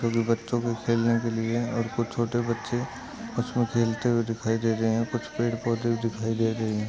ये बच्चों के खेलने के लिए है और कुछ छोटे बच्चे उसमे खेलते हुए दिखाई दे रहे हैं। कुछ पेड़ पौधे दिखाई दे रहे हैं।